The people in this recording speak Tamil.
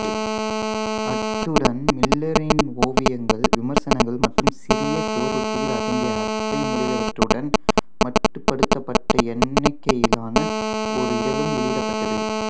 அத்துடன் மில்லரின் ஓவியங்கள் விமர்சனங்கள் மற்றும் சிறிய சுவரொட்டிகள் அடங்கிய அட்டை முதலியவற்றுடன் மட்டுப்படுத்தப்பட்ட எண்ணிக்கையிலான ஒரு இதழும் வெளியிடப்பட்டது